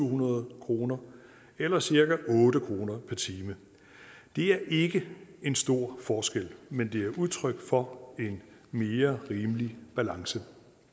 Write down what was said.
hundrede kroner eller cirka otte kroner per time det er ikke en stor forskel men det er udtryk for en mere rimelig balance